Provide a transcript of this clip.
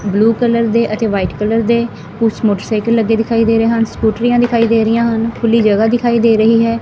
Blue colour ਦੇ ਅਤੇ white colour ਦੇ ਕੁਛ ਮੋਟਰਸਾਈਕਲ ਲੱਗੇ ਦਿਖਾਈ ਦੇ ਰਹੇ ਹਨ ਸਕੂਟਰੀਆਂ ਦਿਖਾਈ ਦੇ ਰਹੀਆਂ ਹਨ ਖੁੱਲੀ ਜਗ੍ਹਾ ਦਿਖਾਈ ਦੇ ਰਹੀ ਹੈ।